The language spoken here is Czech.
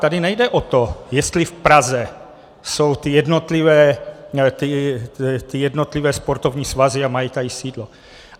Tady nejde o to, jestli v Praze jsou ty jednotlivé sportovní svazy a mají tady sídlo.